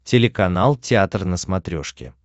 телеканал театр на смотрешке